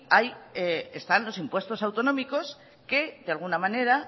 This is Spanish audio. están los impuestos autonómicos que de alguna manera